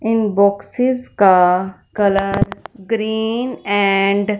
इन boxes का colour green and --